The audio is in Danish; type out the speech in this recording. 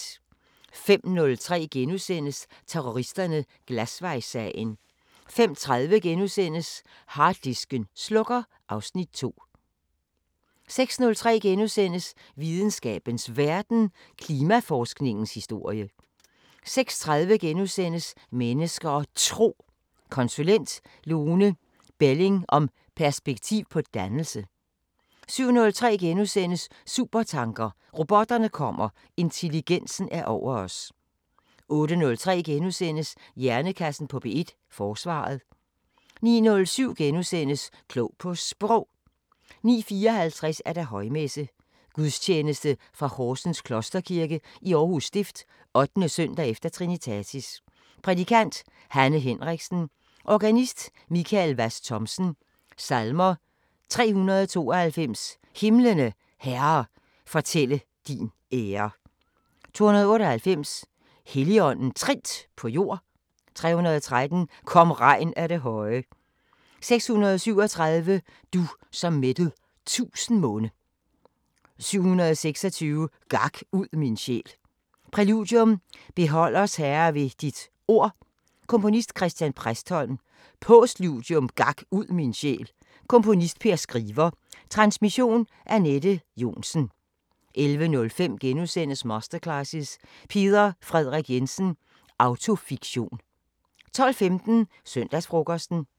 05:03: Terroristerne: Glasvejssagen * 05:30: Harddisken slukker (Afs. 2)* 06:03: Videnskabens Verden: Klimaforskningens historie * 06:30: Mennesker og Tro: Konsulent Lone Belling om perspektiv på dannelse * 07:03: Supertanker: Robotterne kommer, intelligensen er over os * 08:03: Hjernekassen på P1: Forsvaret * 09:07: Klog på Sprog * 09:54: Højmesse - Gudstjeneste fra Horsens Klosterkirke. Aarhus stift. 8. søndag efter Trinitatis. Prædikant: Hanne Henriksen. Organist: Michael Hvas Thomsen. Salmer: 392: "Himlene, Herre, fortælle din ære" 298: "Helligånden trindt på jord" 313: "Kom regn af det høje" 637: "Du, som mætted' tusind munde" 726: "Gak ud min sjæl" Præludium: Behold os Herre ved dit ord Komponist: Chr. Præstholm. Postludium: Gak ud min sjæl Komponist: Per Skriver. Transmission: Anette Johnsen. 11:05: Masterclasses – Peder Frederik Jensen: Autofiktion * 12:15: Søndagsfrokosten